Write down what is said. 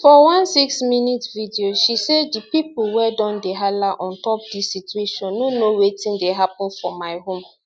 for one six minute video she say di pipo wey don dey hala on top dis situation no know wetin dey happun for my home